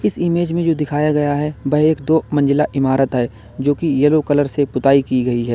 इस इमेज में जो दिखाया गया है वह एक दो मंजिला इमारत है जोकि यलो कलर से पोताई की गई है।